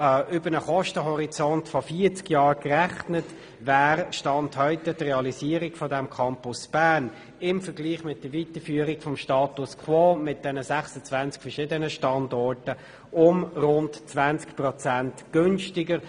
Über einen Kostenhorizont von 40 Jahren gerechnet wäre per Stand heute die Realisierung des Campus Bern im Vergleich zur Weiterführung des Status quo mit den 26 verschiedenen Standorten um rund 20 Prozent günstiger.